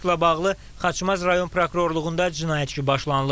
Faktla bağlı Xaçmaz rayon prokurorluğunda cinayət işi başlanılıb.